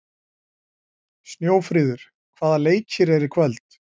Snjófríður, hvaða leikir eru í kvöld?